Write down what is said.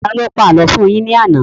Taló pa àlọ́ fún un yín ní àná?